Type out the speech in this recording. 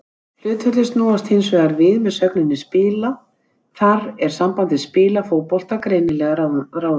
Hlutföllin snúast hins vegar við með sögninni spila, þar er sambandið spila fótbolta greinilega ráðandi.